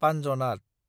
पान्जनाद